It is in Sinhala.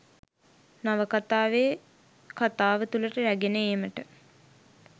නවකතාවේ කතාව තුළට රැගෙන ඒමට